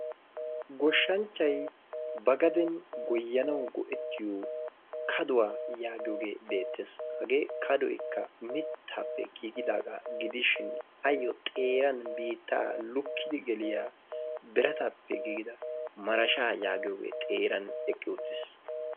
Goshshanchchay ba gaden goyyanaw go''ettiyo kadduwa yaaggiyoogee beettees. Hagee kadoykka mittaappe giigidaaga gidishin ayyo xeeran biitta lukkidi geliyaa birataappe giigida marashsha yaagiyogee xeeran eqqi uttiis.